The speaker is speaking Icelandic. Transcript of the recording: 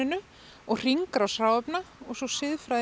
og hringrás hráefna og svo siðfræði